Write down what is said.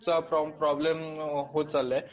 चा प्रॉब्लम होतं चाललाय